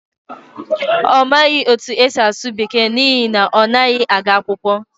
Ọ maghị otú e si asụ Bekee n’ihi na ọ naghị aga akwụkwọ.